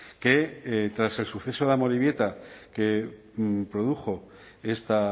que tras el suceso de amorebieta que produjo esta